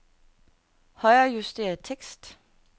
Højrejuster tekst.